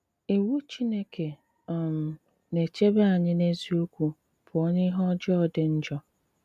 Ìwù Chìnékè um na-èchèbè ànyị̀ n’eziokwu pụọ n’ìhè ọ̀jọọ dị njọ.